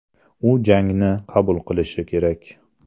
U jangni qabul qilishi kerak.